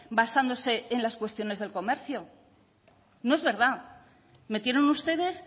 basándose en las cuestiones del comercio no es verdad metieron ustedes